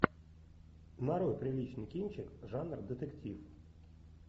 нарой приличный кинчик жанр детектив